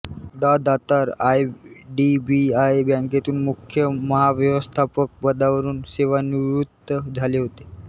डाॅ Datar IDBI बँकेतून मुख्य महाव्यवस्थापक पदावरून सेवानिवृत्त झाले होते